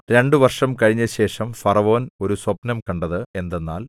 രണ്ടു വർഷം കഴിഞ്ഞശേഷം ഫറവോൻ ഒരു സ്വപ്നം കണ്ടത് എന്തെന്നാൽ